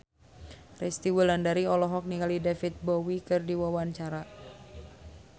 Resty Wulandari olohok ningali David Bowie keur diwawancara